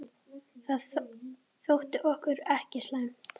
Það þótti okkur ekki slæmt.